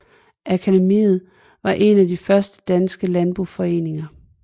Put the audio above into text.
Akademiet var en af de første danske landboforeninger